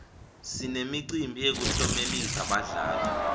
sinemicimbi yekuklomelisa badlali